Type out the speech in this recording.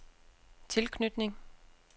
tilknytning